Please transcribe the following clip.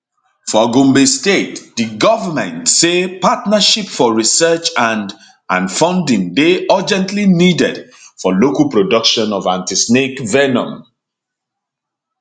for gombe state di govment say partnership for research and and funding dey urgently needed for local production of antisnake venom